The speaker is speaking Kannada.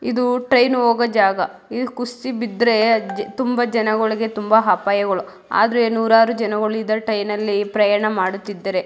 ಇದು ಟ್ರೈನ್ ಹೋಗೋ ಜಾಗ ಇದು ಕುಸಿದು ಬಿದ್ರೆ ತುಂಬಾ ಜನಗಳಿಗೆ ತುಂಬಾ ಅಪಾಯಗಳು ಆದ್ರೂ ನೂರಾರು ಜನರು ಈ ಟ್ರೈನ್ ಅಲ್ಲಿ ಪ್ರಯಾಣ ಮಾಡುತ್ತಿದ್ದಾರೆ.